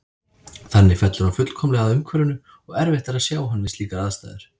Þannig fellur hann fullkomlega að umhverfinu og erfitt er að sjá hann við slíkar aðstæður.